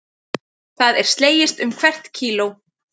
Það er slegist um hvert kíló